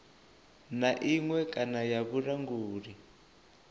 na iṅwe kana ya vhulanguli